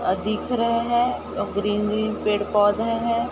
अ दिख रहे है ग्रीन ग्रीन पेड़ पौधे है ।